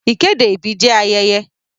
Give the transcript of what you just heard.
Ìkéde ìbí jẹ́ ayẹyẹ.